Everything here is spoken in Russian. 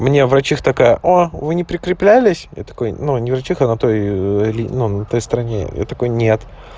мне врачиха такая о вы не прикреплялись я такой но не врачиха на той той стороне я такой нет